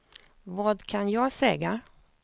vad kan jag säga